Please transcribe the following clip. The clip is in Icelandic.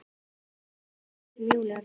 Eina svarið sem Júlía fékk.